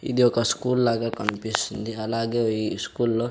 ఇది ఒక స్కూల్ లాగా కన్పిస్తుంది అలాగే ఈ స్కూల్లో --